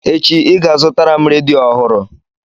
Echi, ị ga-azụtara m redio ọhụrụ!